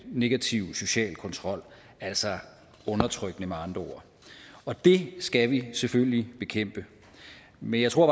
negativ social kontrol altså undertrykkende med andre ord og det skal vi selvfølgelig bekæmpe men jeg tror